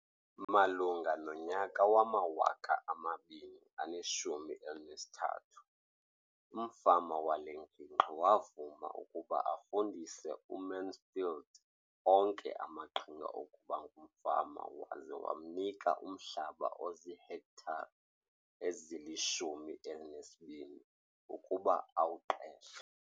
Malunga nonyaka wama-2013, umfama wale ngingqi wavuma ukuba afundise uMansfield onke amaqhinga okuba ngumfama waza wamnika umhlaba ozihektare ezili-12 ukuba awuqeshe.